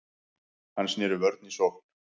Hann sneri vörn í sókn.